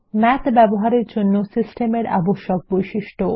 math ব্যবহার এর জন্য সিস্টেমের আবশ্যক বৈশিষ্ট্য